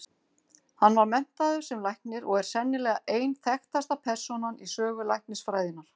Hann var menntaður sem læknir og er sennilega ein þekktasta persónan í sögu læknisfræðinnar.